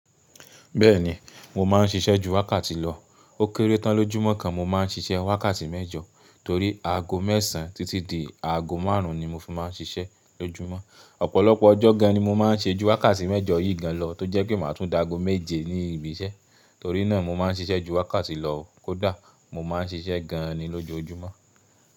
Bẹ́ẹ̀ni, mo máa ń ṣiṣẹ́ ju wákàtí lọ. Ó kéré tán lójúmọ́ kan mo máa ń ṣiṣẹ́ wákàtí mẹ́jọ torí aago mẹ́sàn títí di aago márùn-ún ni mo fi máa ń ṣiṣẹ́ lójúmọ́. Ọ̀pọ̀lọpọ̀ ọjọ́ gan ni mo máa ń ṣiṣẹ́ ju wákàtí mẹ́jọ yìí gan lọ tó jẹ́ pé màá tún dá aago méje ní ibi iṣẹ́. Torí náà mo máa ń ṣiṣẹ́ ju wákàtí lọ kódà mo máa ń ṣiṣẹ́ gan ni lójoojúmọ́.